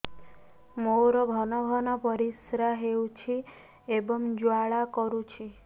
ମୋର ଘନ ଘନ ପରିଶ୍ରା ହେଉଛି ଏବଂ ଜ୍ୱାଳା କରୁଛି